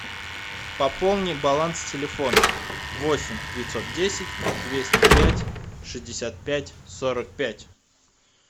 пополни баланс телефона восемь девятьсот десять двести пять шестьдесят пять сорок пять